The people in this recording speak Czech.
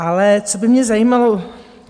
Ale co by mě zajímalo?